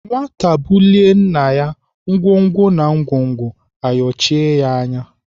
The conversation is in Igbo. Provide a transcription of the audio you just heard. Nwata bulie nna, ngwongwo na ngwongwo ayochie ya ala.